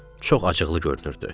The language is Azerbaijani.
Çox acıqlı görünürdü.